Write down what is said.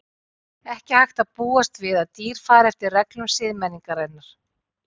Ekki hægt að búast við að dýr fari eftir reglum siðmenningarinnar.